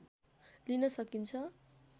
लिन सकिन्छ